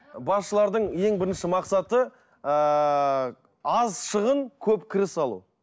басшылардың ең бірінші мақсаты ыыы аз шығын көп кіріс алу